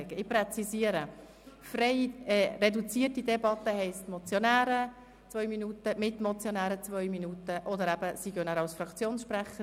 Ich präzisiere: Reduzierte Debatte heisst, die Motionäre haben zwei Minuten und die Mitmotionäre haben zwei Minuten Redezeit, oder sie sprechen als Fraktionssprecher.